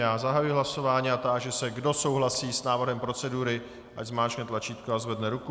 Já zahajuji hlasování a táži se, kdo souhlasí s návrhem procedury, ať zmáčkne tlačítko a zvedne ruku.